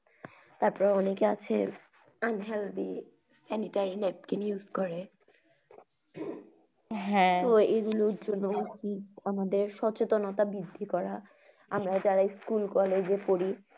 তারপর অনেকে আছে unhealty any type use napkin । হ্যা এগুলোর জন্যেই আমাদের সচেতনতা বৃদ্ধি করা আমরা যারা স্কুল কলেজে পড়ি।